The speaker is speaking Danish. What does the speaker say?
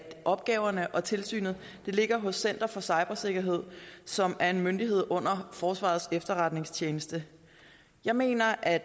opgaverne og tilsynet ligger hos center for cybersikkerhed som er en myndighed under forsvarets efterretningstjeneste jeg mener at